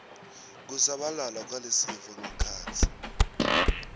kusabalala kwalesifo ngekhatsi